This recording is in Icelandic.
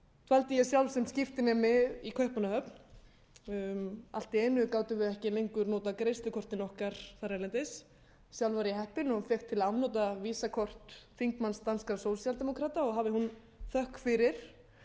dvaldi ég sjálf sem skiptinemi í kaupmannahöfn allt í einu gátum við ekki lengur notað greiðslukortin okkar erlendis sjálf var ég heppin og fékk til afnota visakort þingmanns danskra sósíaldemókrata og hafa á þökk fyrir